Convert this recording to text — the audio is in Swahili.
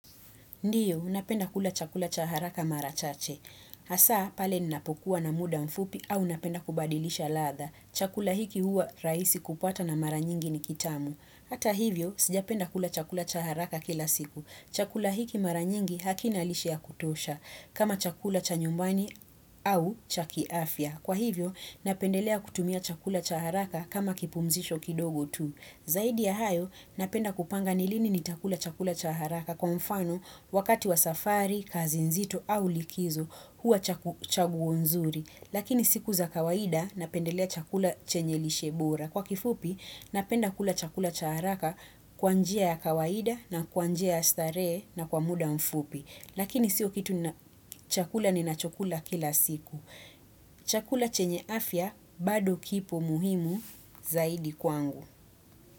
Ndiyo, napenda kula chakula cha haraka mara chache. Hasa pale ninapokuwa na muda mfupi au napenda kubadilisha ladha. Chakula hiki huwa rahisi kupata na mara nyingi ni kitamu. Hata hivyo, sijapenda kula chakula cha haraka kila siku. Chakula hiki mara nyingi hakina lishe ya kutosha kama chakula cha nyumbani au cha kiafya. Kwa hivyo, napendelea kutumia chakula cha haraka kama kipumzisho kidogo tu. Zaidi ya hayo napenda kupanga ni lini nitakula chakula cha haraka kwa mfano wakati wa safari, kazi nzito au likizo huwa chaguo nzuri. Lakini siku za kawaida napendelea chakula chenye lishe bora. Kwa kifupi napenda kula chakula cha haraka kwa njia ya kawaida na kwa njia ya starehe na kwa muda mfupi. Lakini siyo kitu nina chakula ninachokula kila siku. Chakula chenye afya bado kipo muhimu zaidi kwangu.